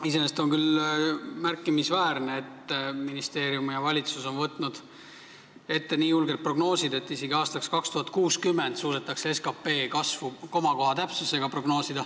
Iseenesest on küll märkimisväärne, et ministeerium ja valitsus on võtnud ette nii julged prognoosid: SKP kasvu suudetakse komakoha täpsusega prognoosida isegi aastaks 2060.